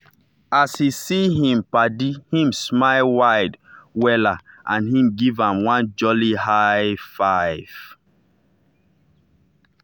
as he see him paddyhim smile wide wella and he give am one jolly high -five.